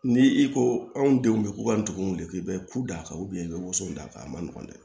Ni i ko anw denw bɛ ko ka ndugu weele k'i bɛ ku d'a kan i bɛ woson d'a kan a man nɔgɔn dɛ